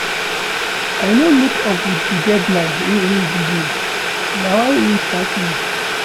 I no meet up wit di deadline wey im give, na why im sack me.